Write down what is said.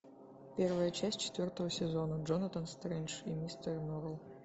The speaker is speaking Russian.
первая часть четвертого сезона джонатан стрендж и мистер норрелл